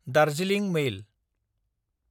Darjeeling मेल